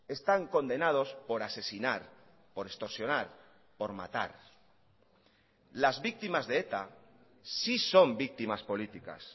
están condenados por asesinar por extorsionar por matar las víctimas de eta sí son víctimas políticas